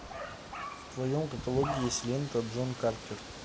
в твоем каталоге есть лента джон картер